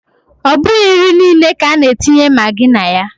Ọ bụghị nri niile ka a na-etinye magi na ya.